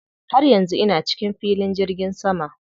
Har yanzu ina cikin filin jirgin sama.